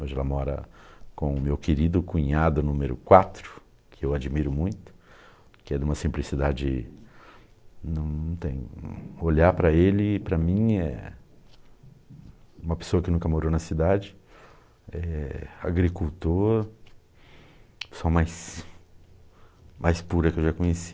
Hoje ela mora com o meu querido cunhado número quatro, que eu admiro muito, que é de uma simplicidade não tem... Olhar para ele, para mim, é uma pessoa que nunca morou na cidade, é agricultor, pessoa mais mais pura que eu já conheci.